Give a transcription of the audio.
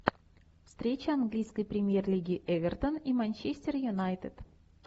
встреча английской премьер лиги эвертон и манчестер юнайтед